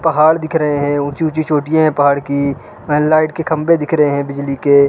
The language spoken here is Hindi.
पहाड़ दिख रहे हैं ऊंची-ऊंची चोटियां हैं पहाड़ की फैन लाइट के खंभे दिख रहे हैं बिजली के।